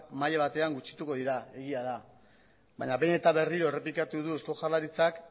maila batena gutxituko dira egia da baina behin eta berriro errepikatu du eusko jaurlaritzak